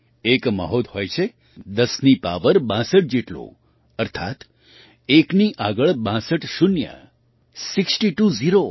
એક મહોધ હોય છે ૧૦ની પાવર ૬૨ જેટલું અર્થાત એકની આગળ ૬૨ શૂન્ય સિક્સ્ટી ટુ ઝીરો